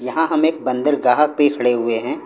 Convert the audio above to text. यहाँ हम एक बंदरगाह पे खड़े हुए हैं।